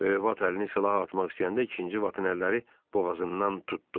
Böyük vat əlini silaha atmaq istəyəndə ikinci vatın əlləri boğazından tutdu.